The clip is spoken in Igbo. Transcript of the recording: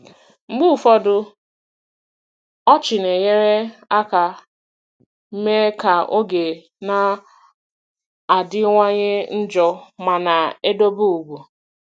Mgbe ụfọdụ, ọchị na-enyere aka mee ka oge na-adịwanye njọ ma na-edobe ugwu.